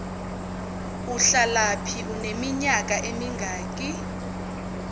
uhlalaphi uneminyaka emingaki